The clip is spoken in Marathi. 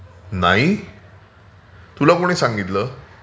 नाही, तुला कोणी सांगितलं?